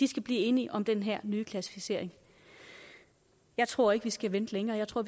skal blive enige om den her nye klassificering jeg tror ikke vi skal vente længere jeg tror